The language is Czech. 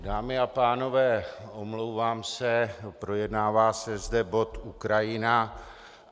Dámy a pánové, omlouvám se, projednává se zde bod Ukrajina.